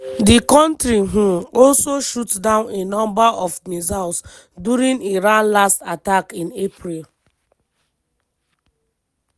di kontri um also shoot down a number of missiles during iran last attack in april.